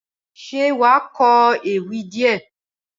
Ṣé wàá kọ ewì díè?